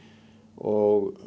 og